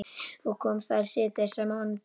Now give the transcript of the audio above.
Og kom þar síðdegis á mánudeginum.